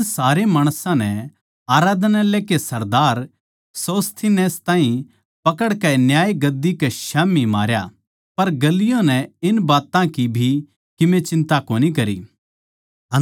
जद सारे माणसां नै आराधनालय के सरदार सोस्थिनेस ताहीं पकड़कै न्याय गद्दी कै स्याम्ही मारया पर गल्लियो नै इन बात्तां की भी कीमे चिन्ता कोनी करी